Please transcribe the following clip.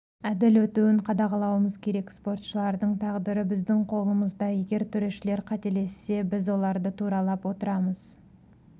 әділ өтуін қадағалауымыз керек спортшылардың тағдыры біздің қолымызда егер төрешілер қателессе біз оларды туралап отырамыз